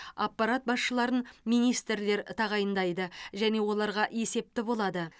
аппарат басшыларын министрлер тағайындайды және оларға есепті болады